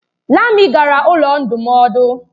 Lami gara ụlọ ndụmọdụ.